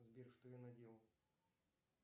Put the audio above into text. сбер что я наделал